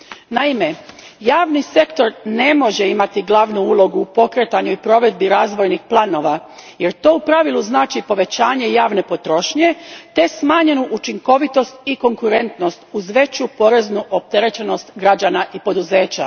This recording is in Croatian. Naime, javni sektor ne može imati glavnu ulogu u pokretanju i provedbi razvojnih planova jer to u pravilu znači povećanje javne potrošnje te smanjenu učinkovitost i konkurentnost uz veću poreznu opterećenost građana i poduzeća.